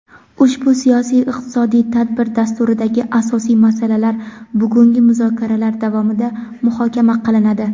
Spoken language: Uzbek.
Ushbu siyosiy-iqtisodiy tadbir dasturidagi asosiy masalalar bugungi muzokaralar davomida muhokama qilinadi.